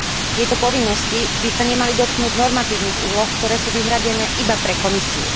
Tieto povinnosti by sa nemali dotknúť normatívnych úloh, ktoré sú vyhradené iba pre Komisiu.